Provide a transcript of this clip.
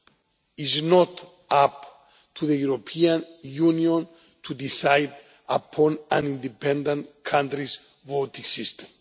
It is not up to the European Union to decide upon an independent country's voting system.